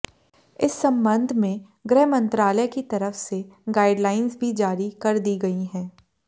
इस संबंध में गृह मंत्रालय की तरफ से गाइडलाइंस भी जारी कर दी गई हैं